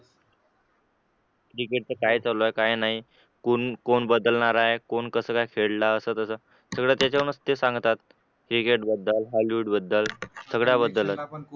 क्रिकेटच काय चालू आहे काय नाही कोण कोण बदलणार आहे कोण कसं काय सगळं त्याच्या वरूनच सांगतात क्रिकेट बद्दल हॉलीवुड बद्दल सगळ्या बद्दलच